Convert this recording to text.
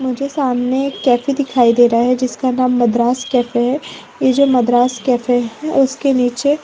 मुझे सामने एक कैफे दिखाई दे रहा है जिसका नाम मद्रास कैफे है ये जो मद्रास कैफे है उसके नीचे--